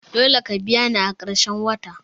Dole ka biya ni a karshen wata!